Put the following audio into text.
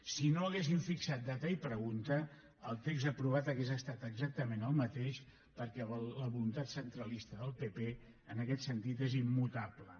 si no haguessin fixat data i pregunta el text aprovat hauria estat exactament el mateix perquè la voluntat centralista del pp en aquest sentit és immutable